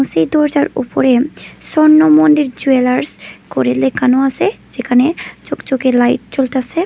সেই দরজার উপরে স্বর্ণ মন্দির জুয়েলার্স করে লেখানো আসে যেখানে লাইট জ্বলতাছে।